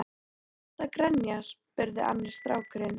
Af hverju ertu að grenja? spurði annar strákurinn.